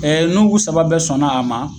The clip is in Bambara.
Ɛ nugu saba bɛɛ sɔnna a ma